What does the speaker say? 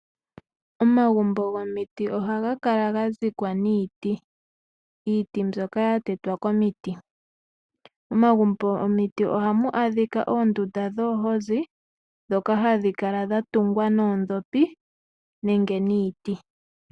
Omagumbo gomiti oha ga ka la ga dhikwa niiti, iiti mbyoka ya tetwa komiti. Omagumbo gomiti oha mu adhika oondunda dhoohozi ndhoka hadhi kala dha tungwa noondhopi nenge niiti.